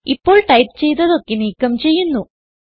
ഇപ്പോൾ ടൈപ്പ് ചെയ്തതൊക്കെ നീക്കം ചെയ്യുന്നു